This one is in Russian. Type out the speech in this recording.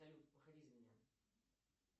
салют выходи за меня